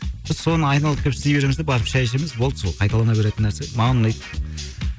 біз соны айналып келіп істей береміз де барып шәй ішеміз болды сол қайталана беретін нәрсе маған ұнайды